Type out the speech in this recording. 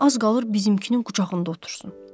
Az qalır bizimkinin qucağında otursun.